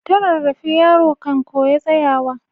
Ta rarrafe yaro kan koya tsayawa.